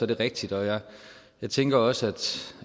det rigtigt jeg tænker også